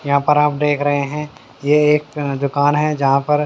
यहाँ पर आप देख रहे हैं ये एक दुकान है जहाँ पर--